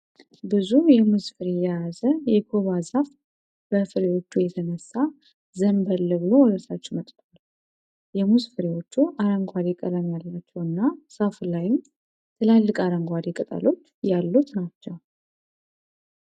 ብዙ የሙዝ ፍሬ የያዘ የኮባ ዛፍ በፍሬዎቹ የተነሳ ዘንበል ብሎ ወደታች መጥቷል። የሙዝ ፍሬዎቹ አረንጓዴ ቀለም ያላቸው እና ዛፉ ላይም ትላልቅ አረንጓዴ ቅጠሎች ያሉት ናቸው።